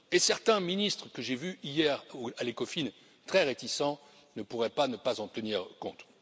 Et certains ministres que j'ai vus hier ou à l'Ecofin, très réticents, ne pourraient pas ne pas en tenir compte.